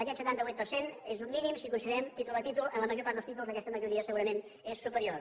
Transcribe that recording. aquest setanta vuit per cent és un mínim si considerem títol a títol en la major part dels títols aquesta majoria segurament és superior